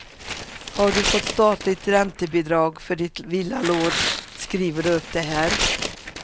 Har du fått statligt räntebidrag för ditt villalån skriver du upp det här.